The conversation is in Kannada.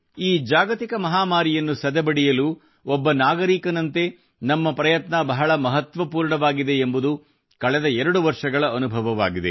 ಈ ಜಾಗತಿಕ ಮಹಾಮಾರಿಯನ್ನು ಸದೆಬಡೆಯಲು ಒಬ್ಬ ನಾಗರಿಕನಂತೆ ನಮ್ಮ ಪ್ರಯತ್ನ ಬಹಳ ಮಹತ್ವಪೂರ್ಣವಾಗಿದೆ ಎಂಬುದು ಕಳೆದ 2 ವರ್ಷಗಳ ಅನುಭವವಾಗಿದೆ